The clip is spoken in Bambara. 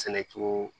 Sɛnɛ cogo